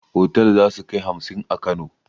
Otal zasukai hamsin a kano